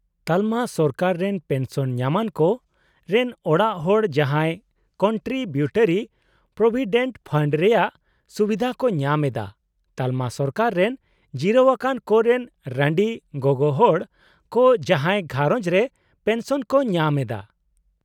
- ᱛᱟᱞᱚᱢᱟ ᱥᱚᱨᱠᱟᱨ ᱨᱮᱱ ᱯᱮᱱᱥᱚᱱ ᱧᱟᱢᱟᱱᱠᱚ ᱨᱮᱱ ᱚᱲᱟᱜ ᱦᱚᱲ ᱡᱟᱦᱟᱸᱭ ᱠᱚᱱᱴᱨᱤᱵᱤᱭᱩᱴᱚᱨᱤ ᱯᱨᱚᱵᱷᱤᱰᱮᱱᱴ ᱯᱷᱟᱱᱰ ᱨᱮᱭᱟᱜ ᱥᱩᱵᱤᱫᱷᱟ ᱠᱚ ᱧᱟᱢ ᱮᱫᱟ ᱺ ᱛᱟᱞᱚᱢᱟ ᱥᱚᱨᱠᱟᱨ ᱨᱮᱱ ᱡᱤᱨᱟᱹᱣ ᱟᱠᱟᱱ ᱠᱚ ᱨᱮᱱ ᱨᱟᱸᱰᱤ ᱜᱚᱜᱚᱦᱚᱲ ᱠᱚ ᱡᱟᱦᱟᱸᱭ ᱜᱷᱟᱸᱨᱚᱧᱡᱽ ᱨᱮ ᱯᱮᱱᱥᱚᱱ ᱠᱚ ᱧᱟᱢ ᱮᱫᱟ ᱾